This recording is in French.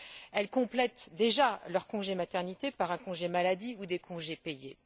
Elles complètent déjà leur congé maternité par un congé de maladie ou des congés payés.